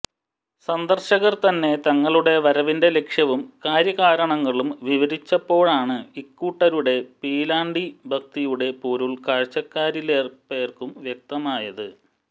സന്ദർശകർ തന്നെ തങ്ങളുടെ വരവിന്റെ ലക്ഷ്യവും കാര്യകാരണങ്ങളും വിവരിച്ചപ്പോഴാണ് ഇക്കൂട്ടരുടെ പീലാണ്ടി ഭക്തിയുടെ പൊരുൾ കാഴ്ചക്കാരിലേറേപ്പേർക്കും വ്യക്തമായത്